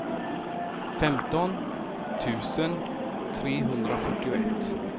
femton tusen trehundrafyrtioett